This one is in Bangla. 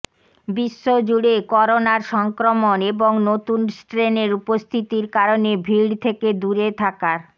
বিশ্বজুড়ে করোনার সংক্রমণ এবং নতুন স্ট্রেনের উপস্থিতির কারণে ভিড় থেকে দূরে থাকার